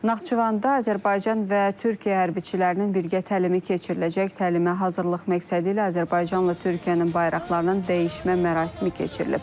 Naxçıvanda Azərbaycan və Türkiyə hərbçilərinin birgə təlimi keçiriləcək, təlimə hazırlıq məqsədi ilə Azərbaycanla Türkiyənin bayraqlarının dəyişmə mərasimi keçirilib.